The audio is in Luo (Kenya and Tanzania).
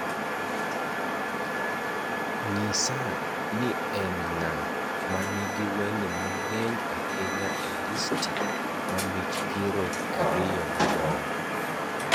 nyisa ni en ng'a ma nigi wende mang'eny ahinya e listi ma mich piero ariyo madongo